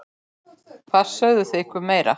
Hvað sögðu þau ykkur meira?